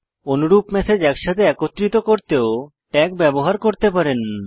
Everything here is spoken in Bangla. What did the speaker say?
অনুরূপ ম্যাসেজ একসাথে একত্রিত করতেও ট্যাগ ব্যবহার করতে পারেন